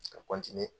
Ka